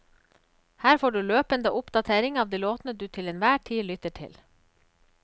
Her får du løpende oppdatering av de låtene du til en hver tid lytter til.